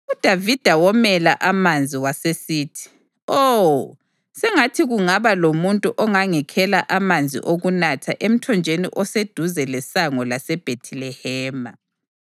UDavida womela amanzi wasesithi, “Oh, sengathi kungaba lomuntu ongangikhela amanzi okunatha emthonjeni oseduze lesango laseBhethilehema!”